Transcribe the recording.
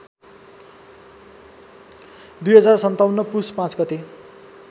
२०५७ पुस ५ गते